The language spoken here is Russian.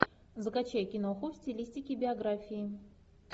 закачай киноху в стилистике биографии